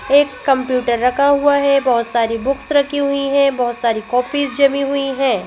एक कंप्यूटर रखा हुआ है बहुत सारी बुक्स रखी हुई हैं बहुत सारी कॉपीज जमी हुई हैं।